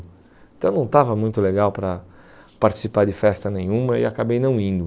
Então não estava muito legal para participar de festa nenhuma e acabei não indo.